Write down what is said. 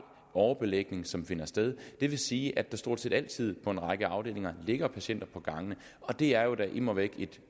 overbelægning som finder sted og det vil sige at der stort set altid på en række afdelinger ligger patienter på gangene og det er jo da immer væk et